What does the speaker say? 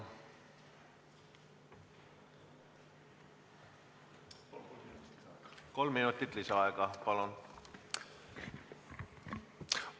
Kolm minutit lisaaega, palun!